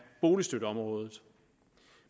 boligstøtteområdet